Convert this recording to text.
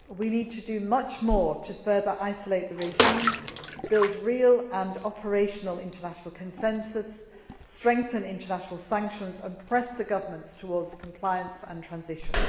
We need to do much more to further isolate the regime, build real and operational international consensus, strengthen international sanctions and press the government towards compliance and transition.